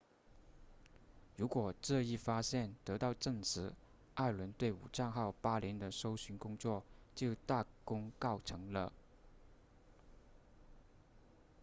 如果这一发现得到证实艾伦对武藏号8年的搜寻工作就大功告成了